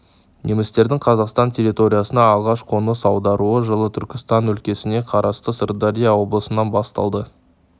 немістердің қазақстан территориясына алғаш қоныс аударуы жылы түркістан өлкесіне қарасты сырдария облысынан басталды